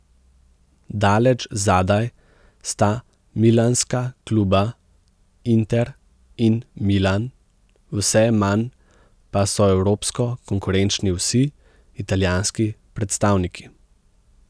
Daleč zadaj sta milanska kluba Inter in Milan, vse manj pa so evropsko konkurenčni vsi italijanski predstavniki.